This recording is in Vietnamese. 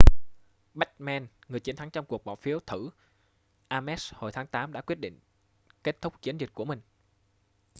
bachmann người chiến thắng trong cuộc bỏ phiếu thử ames hồi tháng tám đã quyết định kết thúc chiến dịch của mình